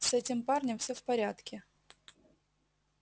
с этим парнем всё в порядке